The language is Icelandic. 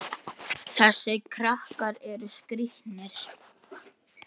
Hún er í tveimur vinnum.